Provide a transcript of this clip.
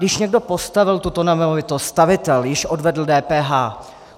Když někdo postavil tuto nemovitost, stavitel již odvedl DPH.